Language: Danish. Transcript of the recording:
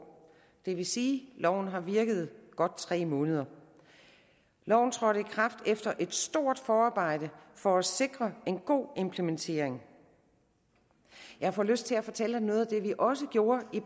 det vil sige loven har virket i godt tre måneder loven trådte i kraft efter et stort forarbejde for at sikre en god implementering jeg får lyst til at fortælle om noget af det vi også gjorde i